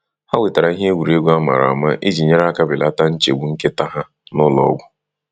Ha wetara ihe egwuregwu amara ama iji nyere aka belata nchegbu nkịta ha na ụlọọgwụ.